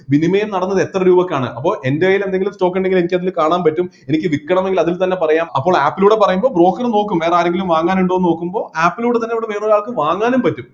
വിനിമയം നടന്നത് എത്ര രൂപക്കാണ് അപ്പൊ എൻ്റെ കൈയിൽ എന്തെങ്കിലും stock ഇണ്ടെങ്കില് അത് എനിക്ക് കാണാൻ പറ്റും എനിക്ക് വിക്കണമെങ്കിൽ അതിൽ തന്നെ പറയാം അപ്പോൾ app ലൂടെ പറയുമ്പോൾ broker ഉം നോക്കും വേറെ ആരെങ്കിലും വാങ്ങാനുണ്ടോ എന്ന് നോക്കുമ്പോ app ലൂടെ തന്നെ അവിടെ വേറെ ഒരാൾക്ക് വാങ്ങാനും പറ്റും